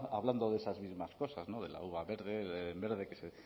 hablando de esas mismas cosas de la uva verde en verde que se